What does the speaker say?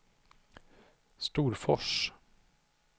Storfors